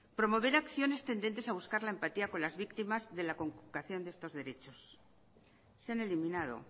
promover acciones tendentes a buscar la empatía con las víctimas de la conculcación de estos derechos se han eliminado